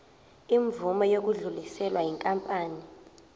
imvume yokudluliselwa yinkampani